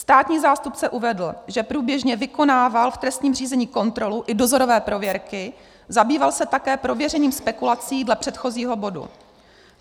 Státní zástupce uvedl, že průběžně vykonával v trestním řízení kontrolu i dozorové prověrky, zabýval se také prověřením spekulací dle předchozího bodu.